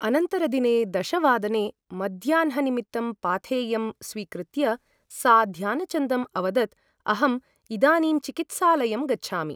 अनन्तरदिने दशवादने मध्याह्ननिमित्तं पाथेयं स्वीकृत्य सा ध्यानचन्दम् अवदत् अहम् इदानीं चिकित्सालयं गच्छामि ।